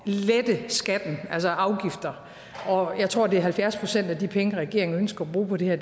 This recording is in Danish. lette skatten altså afgifter og jeg tror at det er halvfjerds procent af de penge regeringen ønsker at bruge på det her